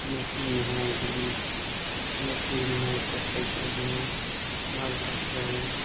Machine है। Drill machine है कपड़े चेंज है बाल काट रहे हैं।